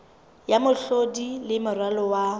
ya mehlodi le moralo wa